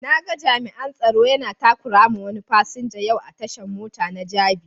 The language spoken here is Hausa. Na ga jami'an tsaro yana takurawa wani fasinja yau a tashan mota na jabi.